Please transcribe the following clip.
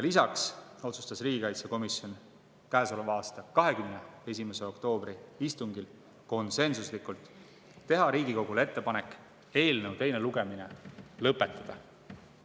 Lisaks otsustas riigikaitsekomisjon käesoleva aasta 21. oktoobri istungil konsensuslikult teha Riigikogule ettepanek eelnõu teine lugemine lõpetada.